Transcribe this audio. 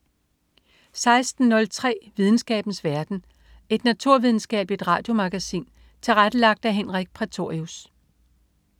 16.03 Videnskabens verden. Et naturvidenskabeligt radiomagasin tilrettelagt af Henrik Prætorius